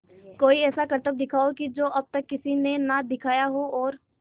कोई ऐसा करतब दिखाओ कि जो अब तक किसी ने ना दिखाया हो और